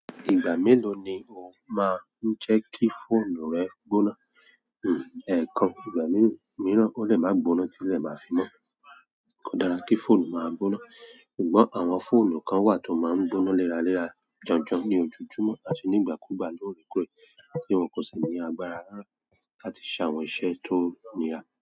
Ìgbà mélòó ni o máa ń jẹ́ kí fóònù rẹ gbóná? Hmm, ẹ̀kan, ìgbà mìíràn ó lè máa gbóná tí lẹ́ máa fi mọ́. Kò dára kí fóònù máa gbóná, ṣùgbọ́n àwọn fóònù kan wà tó máa ń gbóná léra lèra jọ̀jọ̀ ní ojojúmọ́ àti nígbàkúùgbà lóore kóre, tí wọn kò sì ní agbára lára láti ṣe àwọn iṣẹ́ tó nira.